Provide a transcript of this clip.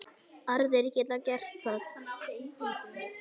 Aðrir geta gert það.